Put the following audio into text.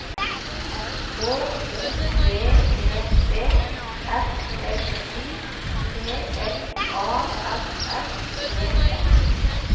H O V E D F L Y P L A S S E N